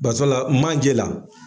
Basala manje la.